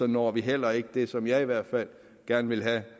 når vi heller ikke det som jeg i hvert fald gerne vil have at